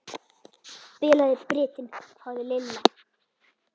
Bilaði brytinn hváði Lilla.